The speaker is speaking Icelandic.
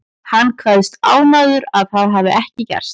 Hann kveðst ánægður að það hafi ekki gerst.